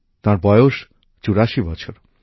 তাঁর বয়স ৮৪ বছর